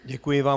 Děkuji vám.